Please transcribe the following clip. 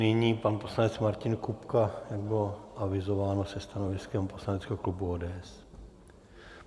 Nyní pan poslanec Martin Kupka, jak bylo avizováno, se stanoviskem poslaneckého klubu ODS.